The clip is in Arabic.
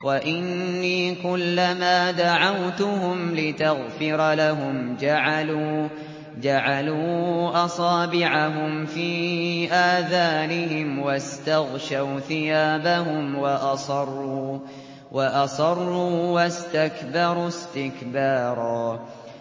وَإِنِّي كُلَّمَا دَعَوْتُهُمْ لِتَغْفِرَ لَهُمْ جَعَلُوا أَصَابِعَهُمْ فِي آذَانِهِمْ وَاسْتَغْشَوْا ثِيَابَهُمْ وَأَصَرُّوا وَاسْتَكْبَرُوا اسْتِكْبَارًا